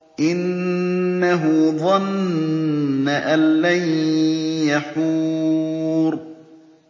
إِنَّهُ ظَنَّ أَن لَّن يَحُورَ